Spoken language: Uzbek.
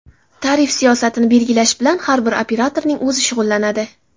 Tarif siyosatini belgilash bilan har bir operatorning o‘zi shug‘ullanadi.